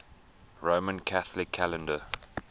roman catholic calendar